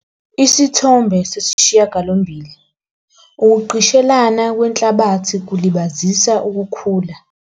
Isithombe 8- ukugqishelana kwenhlabathi kulibazisa ukukhula.